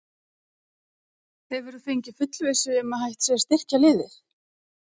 Hefurðu fengið fullvissu um að hægt sé að styrkja liðið?